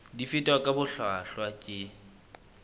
di fetwa ka bohlwahlwa ke